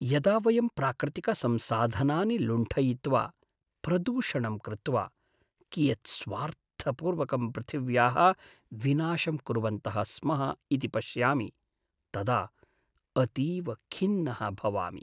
यदा वयं प्राकृतिकसंसाधनानि लुण्ठयित्वा प्रदूषणं कृत्वा कियत् स्वार्थपूर्वकं पृथिव्याः विनाशं कुर्वन्तः स्मः इति पश्यामि तदा अतीव खिन्नः भवामि।